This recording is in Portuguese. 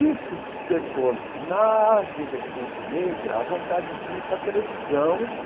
Isso despertou na juventude negra a vontade de ir para a televisão,